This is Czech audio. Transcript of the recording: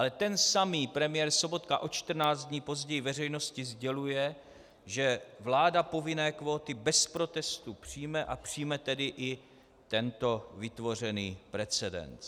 Ale ten samý premiér Sobotka o 14 dní později veřejnosti sděluje, že vláda povinné kvóty bez protestu přijme, a přijme tedy i tento vytvořený precedens.